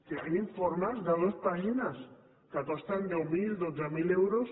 hi ha informes de dues pàgines que costen deu mil dotze mil euros